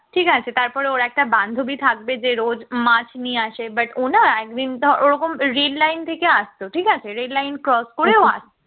ঠিক আছে তারপর ওর একটা বান্ধবী থাকবে যে রোজ মাছ নিয়ে আসে but ও না একদিন ওরকম red line থেকে আসতো ঠিক আছে red line cross করে ও আসতো